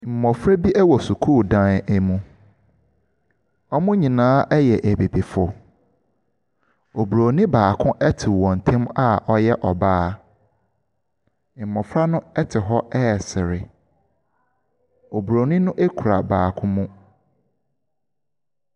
Mmɔfra bi ɛwɔ sukuudan bi mu. Wɔn nyinaa yɛ abibifoɔ. Obroni baako ɛte wɔntɛm a ɔyɛ ɔbaa. Mmɔfra no ɛte hɔ resre. Obroni no kura baako mu.